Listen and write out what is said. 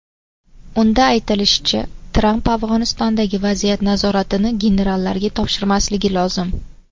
Unda aytilishicha, Tramp Afg‘onistondagi vaziyat nazoratini generallarga topshirmasligi lozim.